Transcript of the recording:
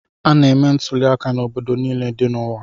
A na-eme ntuliaka n'obodo niile dị n'ụwa